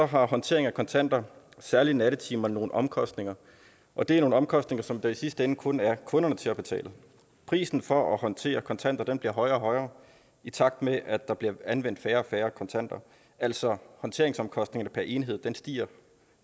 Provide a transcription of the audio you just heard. har håndtering af kontanter særlig i nattetimerne nogle omkostninger og det er nogle omkostninger som der i sidste ende kun er kunderne til at betale prisen for at håndtere kontanter bliver højere og højere i takt med at der bliver anvendt færre og færre kontanter altså håndteringsomkostningerne per enhed stiger